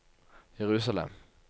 Jerusalem